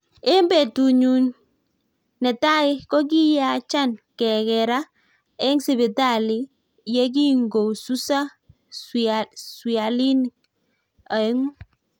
Eng petut nyuun netai kokiyacha kekeraa eng sipitali yegingosusaa swialinik oeng'u